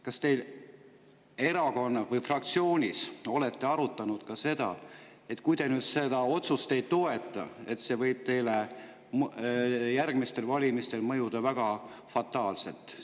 Kas te erakonnas või fraktsioonis olete arutanud, et kui te seda otsust ei toeta, siis see võib teile järgmistel valimistel mõjuda fataalselt?